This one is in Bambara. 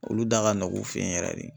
Olu da ka nɔgɔn u fɛ yen yɛrɛ de.